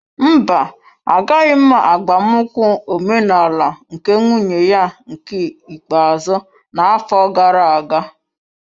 Mba, Agaghị m agbamnkwu ọmenala nke nwunye ya nke ikpeazụ n'afọ gara aga.